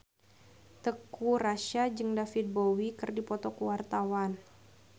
Teuku Rassya jeung David Bowie keur dipoto ku wartawan